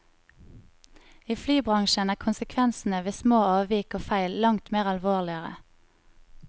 I flybransjen er konsekvensene ved små avvik og feil langt mer alvorligere.